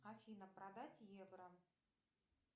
афина продать евро